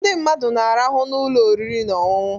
Ndị mmadụ na-arahụ n'ụlọ oriri na ọṅụṅụ